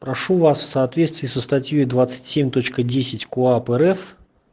прошу вас в соответствии со статьёй двадцать семь точка десять коап рф